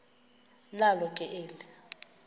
nalo ke eli